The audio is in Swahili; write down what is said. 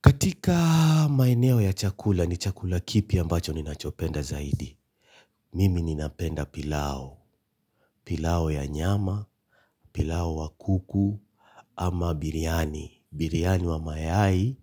Katika maineo ya chakula ni chakula kipi ambacho ninachopenda zaidi. Mimi ninapenda pilau. Pilau ya nyama, pilau wa kuku ama biriyani. Biriyani wa mayai,